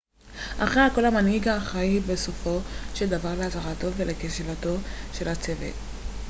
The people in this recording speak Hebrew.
אחרי הכל המנהיג אחראי בסופו של דבר להצלחתו ולכשלונו של הצוות